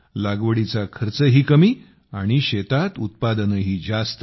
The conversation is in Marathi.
लागवडीचा खर्चही कमी व शेतात उत्पादनही जास्त